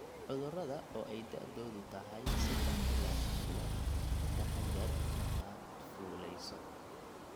cudurada), oo ay da'doodu tahay saddex ilaa shan bilood. Ka taxadar markaad fuulayso